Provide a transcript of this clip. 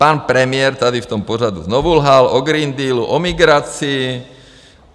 Pan premiér tady v tom pořadu znovu lhal o Green Dealu, o migraci.